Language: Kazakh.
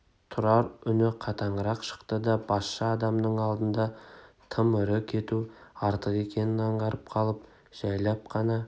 тұрар үні қатаңырақ шықты да басшы адамның алдында тым ірі кету артық екенін аңғарып қалып жайлап қана